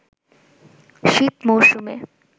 শীত মৌসুমে